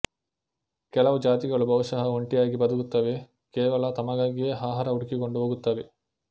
ಕೆಲವು ಜಾತಿಗಳು ಬಹುಶಃ ಒಂಟಿಯಾಗಿ ಬದುಕುತ್ತವೆ ಕೇವಲ ತಮಗಾಗಿಯೇ ಆಹಾರ ಹುಡುಕಿಕೊಂಡು ಹೋಗುತ್ತವೆ